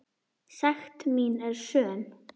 Sekt mín er söm.